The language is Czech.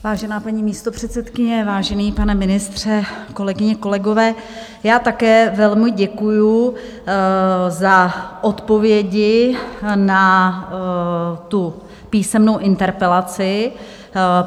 Vážená paní místopředsedkyně, vážený pane ministře, kolegyně, kolegové, já také velmi děkuju za odpovědi na tu písemnou interpelaci.